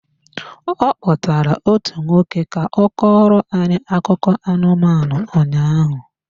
Ọ kpọtaara otu nwoke ka ọ kọọrọ anyị akụkọ anụmanụ ụnyaahụ.